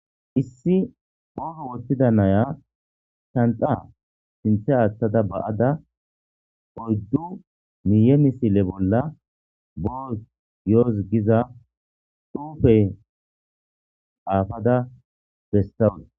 Issi oogo woththida naya shanxa sinthe aaththada ba7ada oyddu miiye misile bolla boo yooz giza xufey aafada bestawua.